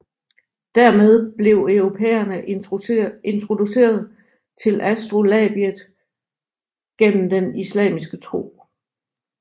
Dermed blev europæerne introduceret til astrolabiet gennem den islamiske tro